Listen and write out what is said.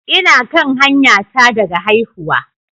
Ina kan hanyata daga haihuwa